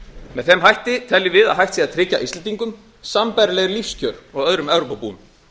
með þeim hætti teljum við að hægt sé að tryggja íslendingum sambærileg lífskjör og öðrum evrópubúum